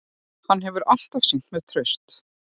Hann hefur alltaf sýnt mér traust